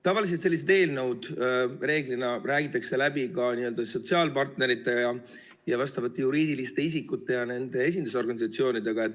Tavaliselt räägitakse sellised eelnõud läbi ka sotsiaalpartneritega ja vastavate juriidiliste isikute ja nende esindusorganisatsioonidega.